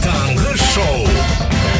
таңғы шоу